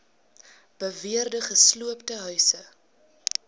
beweerde gesloopte huise